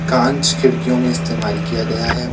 कांच खिड़कियों में इस्तेमाल किया गया है।